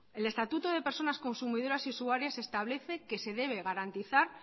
el estatuto de personas consumidoras y usuarias establece que se debe garantizar